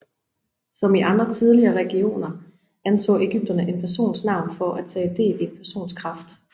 Som i andre tidligere religioner anså ægypterne en persons navn for at tage del i en persons kraft